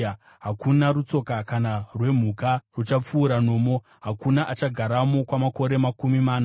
Hakuna rutsoka kana rwemhuka ruchapfuura nomo; hakuna achagaramo kwamakore makumi mana.